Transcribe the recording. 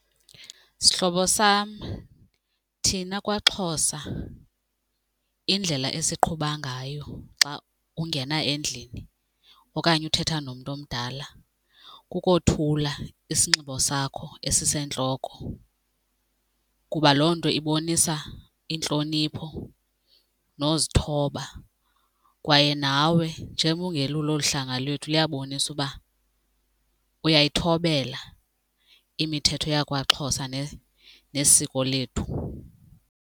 Sihlobo sam, thina kwaXhosa indlela esiqhuba ngayo xa ungena endlini okanye uthetha nomntu omdala kukothula isinxibo sakho esisentloko kuba loo nto ibonisa intlonipho nozithoba kwaye nawe njengoba ungelulo olu hlanga lwethu liyabonisa uba uyayithobela imithetho yakwaXhosa nesiko lethu.